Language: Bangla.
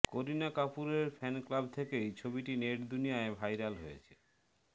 করিনা কাপুরের ফ্যান ক্লাব থেকেই ছবিটি নেটদুনিয়ায় ভাইরাল হয়েছে